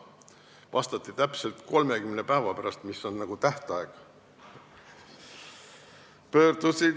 Vastati täpselt 30 päeva pärast, mis on tähtaeg.